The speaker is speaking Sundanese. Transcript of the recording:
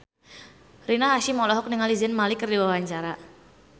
Rina Hasyim olohok ningali Zayn Malik keur diwawancara